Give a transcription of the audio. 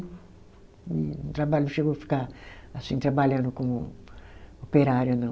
Não traba, não chegou a ficar assim trabalhando como operária, não.